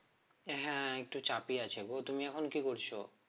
হ্যাঁ একটু চাপই আছে গো তুমি এখন কি করছো?